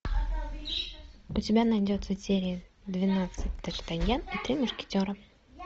у тебя найдется серия двенадцать д артаньян и три мушкетера